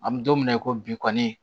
An bɛ don min na i ko bi kɔni